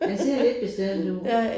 Den ser lidt bestemt ud